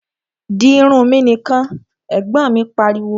Di irun mi nìkan! Ẹ̀gbọ́n mi pariwo